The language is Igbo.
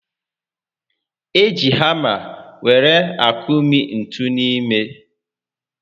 E ji hàmá were akụmi ntú n'ime